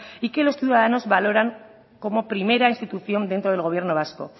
y que los ciudadanos valoran como primera institución dentro del gobierno vasco